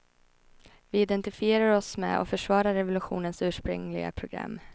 Vi identifierar oss med och försvarar revolutionens ursprungliga program.